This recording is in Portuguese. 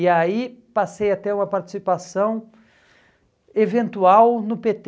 E aí passei a ter uma participação eventual no pê tê.